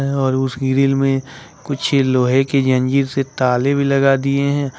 और उस ग्रिल में कुछ लोहे की जंजीर से ताले भी लगा दिए हैं।